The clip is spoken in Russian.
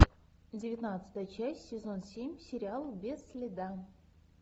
девятнадцатая часть сезон семь сериал без следа